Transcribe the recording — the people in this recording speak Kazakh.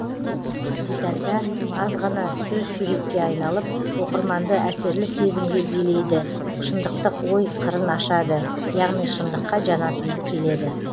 детальда аз ғана сөз суретке айналып оқырманды әсерлі сезімге белейді шындықтық ой қырын ашады яғни шындыққа жанасымды келеді